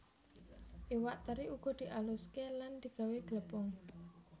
Iwak teri uga dialuské lan digawé glepung